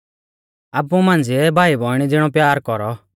आपु मांझ़िऐ भाईबौइणी ज़िणौ प्यार कौरौ